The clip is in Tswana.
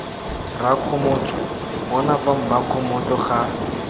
rakgomotso bona fa mmakgomotso ga